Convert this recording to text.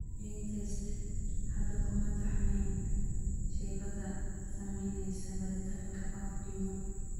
GeneTests hadda kuma taxnayn shaybaadhada samaynaysa baaritaanka OFD1.